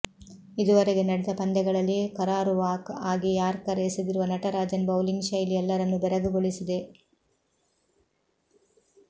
ಇದುವರೆಗೆ ನಡೆದ ಪಂದ್ಯಗಳಲ್ಲಿ ಕರಾರುವಾಕ್ ಆಗಿ ಯಾರ್ಕರ್ ಎಸೆದಿರುವ ನಟರಾಜನ್ ಬೌಲಿಂಗ್ ಶೈಲಿ ಎಲ್ಲರನ್ನೂ ಬೆರಗುಗೊಳಿಸಿದೆ